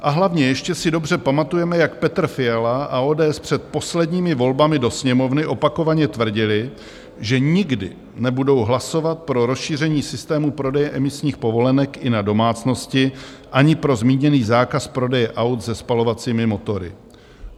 A hlavně, ještě si dobře pamatujeme, jak Petr Fiala a ODS před posledními volbami do Sněmovny opakovaně tvrdili, že nikdy nebudou hlasovat pro rozšíření systému prodeje emisních povolenek i na domácnosti ani pro zmíněný zákaz prodeje aut se spalovacími motory.